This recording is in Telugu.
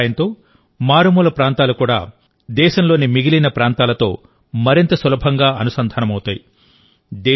దీని సహాయంతోమారుమూల ప్రాంతాలు కూడా దేశంలోని మిగిలిన ప్రాంతాలతో మరింత సులభంగా అనుసంధానమవుతాయి